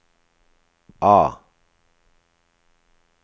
A